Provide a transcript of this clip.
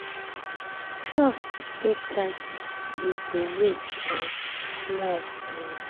trust take time we go wait um small. um